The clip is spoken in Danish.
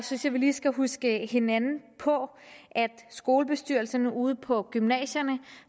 synes jeg vi lige skal huske hinanden på at skolebestyrelserne ude på gymnasierne